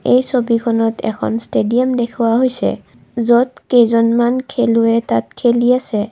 এই ছবিখনত এখন ষ্টেডিয়াম দেখুওৱা হৈছে য'ত কেইজনমান খেলুৱৈয়ে তাত খেলি আছে।